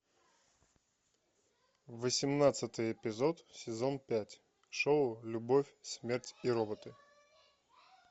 восемнадцатый эпизод сезон пять шоу любовь смерть и роботы